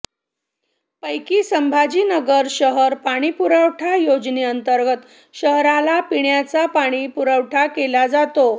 पैकी संभाजीनगर शहर पाणीपुरवठा योजनेअंतर्गत शहराला पिण्याचा पाणीपुरवठा केला जातो